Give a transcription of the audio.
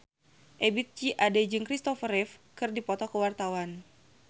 Ebith G. Ade jeung Christopher Reeve keur dipoto ku wartawan